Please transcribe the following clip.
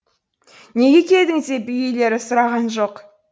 неге келдің деп үй иелері сұраған жоқ